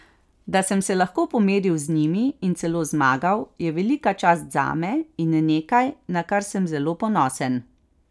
Da sem se lahko pomeril z njimi in celo zmagal, je velika čast zame in nekaj, na kar sem zelo ponosen.